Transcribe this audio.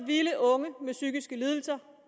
ville unge med psykiske lidelser